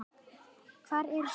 Hvað eru sykrur?